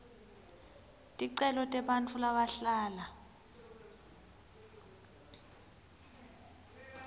ticelo tebantfu labahlala